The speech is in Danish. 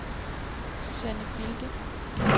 Suzanne Bilde